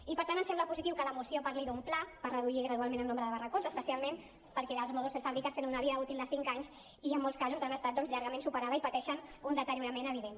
i per tant em sembla positiu que la moció parli d’un pla per reduir gradualment el nombre de barracons especialment perquè els mòduls prefabricats tenen una vida útil de cinc anys i en molts casos han estat doncs llargament superats i pateixen un deteriorament evident